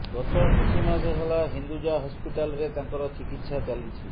ଗତ କିଛି ମାସ ହେଲା ହିନ୍ଦୁଜା ହସ୍ପିଟାଲରେ ତାଙ୍କର ଚିକିତ୍ସା ଚାଲିଛି